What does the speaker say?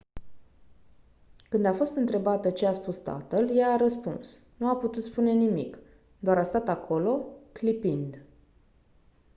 când a fost întrebată ce a spus tatăl ea a răspuns «nu a putut spune nimic - doar a stat acolo clipind».